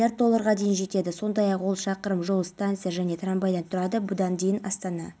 орденімен ішкі істер минстрлігі қылмыстық-атқару жүйесі комитетінің аса маңызды істер жөніндегі аға уәкілі ғалиевті ерлігі